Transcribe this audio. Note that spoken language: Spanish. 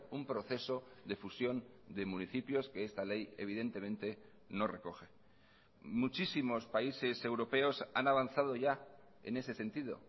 un proceso de fusión de municipios que esta ley evidentemente no recoge muchísimos países europeos han avanzado ya en ese sentido